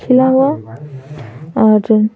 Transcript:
छिला हुआ और --